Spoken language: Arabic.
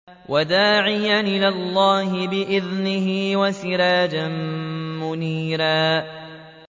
وَدَاعِيًا إِلَى اللَّهِ بِإِذْنِهِ وَسِرَاجًا مُّنِيرًا